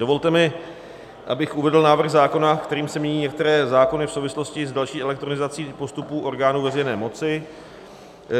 Dovolte mi, abych uvedl návrh zákona, kterým se mění některé zákony v souvislosti s další elektronizací postupů orgánů veřejné moci.